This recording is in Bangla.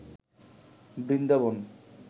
বৃন্দাবন